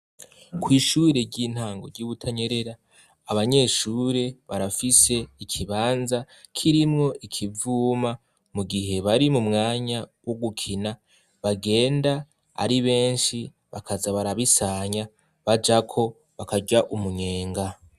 kw'ishure ry'intango ryi butanyerera abanyeshure barafise ikibanza kirimwo ikivuma mu gihe bari mu mwanya wo gukina bagenda ari benshi bakaza barabisanya baja ko bakarya umunyenga